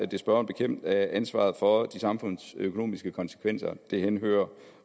det spørgeren bekendt at ansvaret for de samfundsøkonomiske konsekvenser henhører